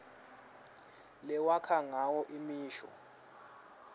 lewakha ngayo imisho